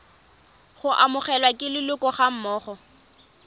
go amogelwa ke leloko gammogo